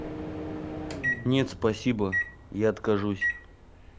нет спасибо я откажусь